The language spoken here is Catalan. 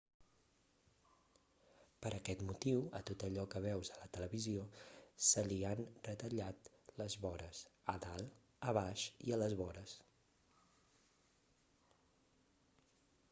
per aquest motiu a tot allò que veus a la tv se li han retallat les vores a dalt a baix i a les vores